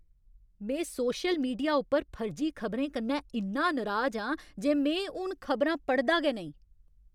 में social media उप्पर फर्जी खबरें कन्नै इन्ना नराज आं जे में हून खबरां पढ़दा गै नेईं।